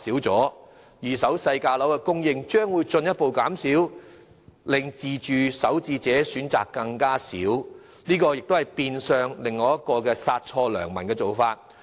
在二手低價單位的供應量進一步減少之下，自住首置買家的選擇將更少，這變相是另一殺錯良民的做法。